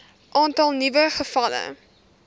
aantal nuwe gevalle